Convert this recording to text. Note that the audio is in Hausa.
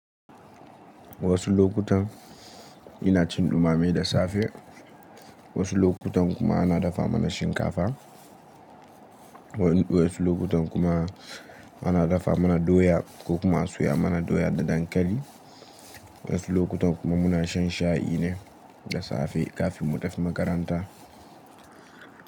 Wasu lokutan ina cin dumame da safe, wasu lokutan kuma ana dafa mana shinkafa, wasu lokutan kuma ana dafa mana doya ko kuma a soya mana doya da dankali, wasu lokutan kuma muna shan shayi ne da safe kafin mu tafi makaranta.